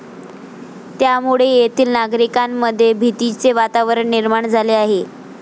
त्यामुळे येथील नागरिकांमध्ये भीतीचे वातावरण निर्माण झाले आहे.